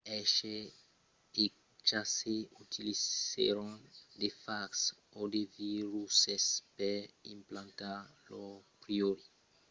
hershey e chase utilizèron de fags o de viruses per implantar lor pròpri adn dins una bacteria